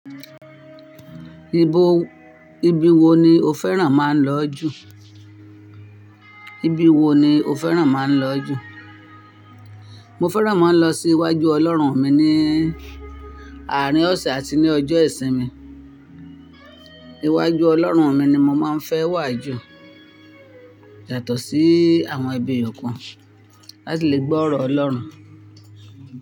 Ibo, ibi wo ni o fẹ́ràn máa ń lọ jù? Ibi wo ni o fẹ́ràn máa ń lọ jù? Mo fẹ́ràn mo ń lọ sí iwájú Ọlọ́run mi ní àárín ọ̀sẹ̀ àti ní ọjọ́ ìsinmi. Iwájú Ọlọ́run mi ni mo máa ń fẹ́ wà jù yato sí àwọn bi eyọ̀kan, láti lè gbọ́ ọ̀rọ̀ Ọlọ́run.